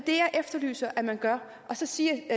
efterlyser at man gør så siger